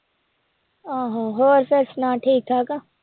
ਆਹੋ ਹੋਰ ਫਿਰ ਸੁਣਾ ਠੀਕ ਠਾਕ ਆਂ